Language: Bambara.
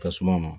Tasuma ma